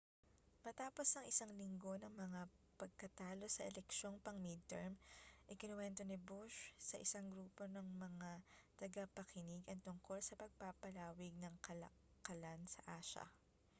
matapos ang isang linggo ng mga pagkatalo sa eleksyong pang-midterm ikinuwento ni bush sa isang grupo ng mga tagapakinig ang tungkol sa pagpapalawig ng kalakalan sa asya